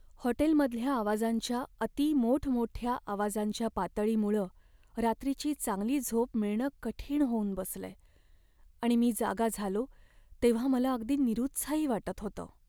हॉटेलमधल्या आवाजांच्या अति मोठमोठ्या आवाजांच्या पातळीमुळं रात्रीची चांगली झोप मिळणं कठीण होऊन बसलंय आणि मी जागा झालो तेव्हां मला अगदी निरुत्साही वाटत होतं.